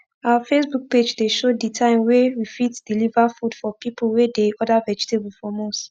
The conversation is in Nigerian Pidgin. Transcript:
our facebook page dey show d time wey we fit deliver food for pipu wey dey order vegetable from us